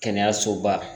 Kɛnɛyasoba